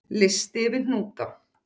Listi yfir hnúta